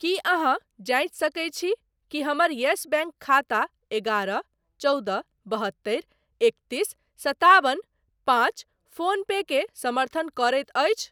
की अहाँ जाँचि सकैत छी कि हमर येस बैंक खाता एगारह चौदह बहत्तरि एकतीस सताबन पाँच फोन पे के समर्थन करैत अछि ?